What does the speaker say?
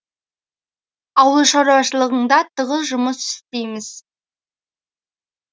ауыл шаруашылығында тығыз жұмыс істейміз